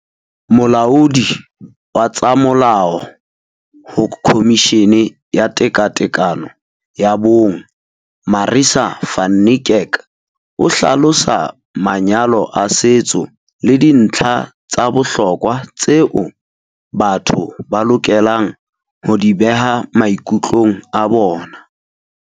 Molaodi wa tsa molao ho Khomishini ya Tekatekano ya Bong Marissa van Niekerk o hlalosa manyalo a setso le dintlha tsa bohlokwa tseo batho ba lokelang ho di beha maikutlong a bona.